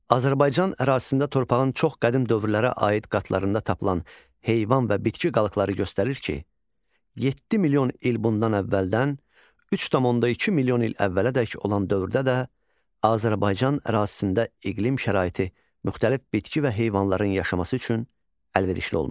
Azərbaycan ərazisində torpağın çox qədim dövrlərə aid qatlarında tapılan heyvan və bitki qalıqları göstərir ki, 7 milyon il bundan əvvəldən 3,2 milyon il əvvələdək olan dövrdə də Azərbaycan ərazisində iqlim şəraiti müxtəlif bitki və heyvanların yaşaması üçün əlverişli olmuşdur.